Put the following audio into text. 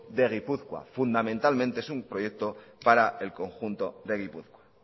de gipuzkoa fundamentalmente es una proyecto para el conjunto de gipuzkoa